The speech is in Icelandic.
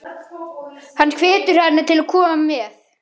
Hann hvetur hana til að koma með.